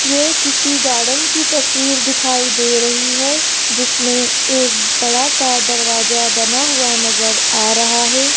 ये किसी गार्डन की तस्वीर दिखाई दे रही है जिसमें एक बड़ा सा दरवाजा बना हुआ नजर आ रहा है।